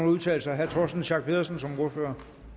udtale sig herre torsten schack pedersen som ordfører